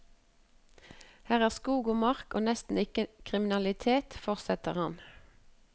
Her er skog og mark og nesten ikke kriminalitet, fortsetter han.